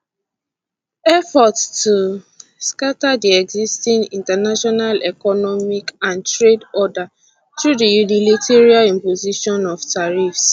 [effort to] scata di existing international economic and trade order through di unilateral imposition of tariffs